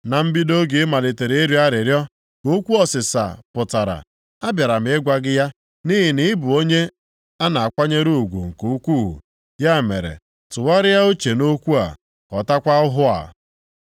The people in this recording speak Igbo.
Na mbido oge ị malitere ịrịọ arịrịọ, ka okwu ọsịsa pụtara. Abịara m ịgwa gị ya, nʼihi na ị bụ onye a na-akwanyere ugwu nke ukwuu. Ya mere, tụgharịa uche nʼokwu a, ghọtakwa ọhụ a.